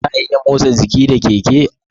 Za'a iya motsa jiki da keke